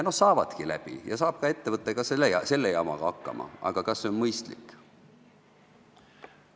Ja saavadki läbi ja saab ka ettevõte selle jamaga hakkama, aga kas see on mõistlik?